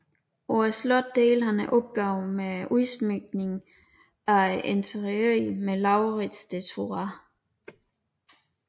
På slottet delte han opgaven med udsmykningen af interiøret med Laurids de Thurah